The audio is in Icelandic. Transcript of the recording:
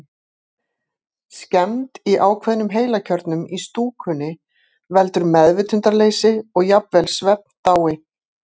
Skemmd í ákveðnum heilakjörnum í stúkunni veldur meðvitundarleysi og jafnvel svefndái.